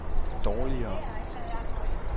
dårligere